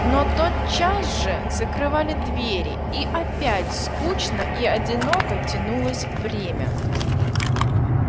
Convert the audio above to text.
но тотчас же закрывали двери и опять скучно и одиноко тянулось время